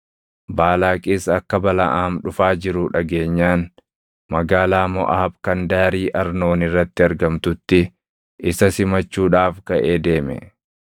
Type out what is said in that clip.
Baalaaqis akka Balaʼaam dhufaa jiru dhageenyaan, magaalaa Moʼaab kan daarii Arnoon irratti argamtutti isa simachuudhaaf kaʼee deeme.